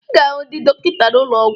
Ị ga-ahụ ndị dọkịta n'ụlọ ọgwụ